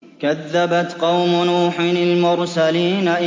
كَذَّبَتْ قَوْمُ نُوحٍ الْمُرْسَلِينَ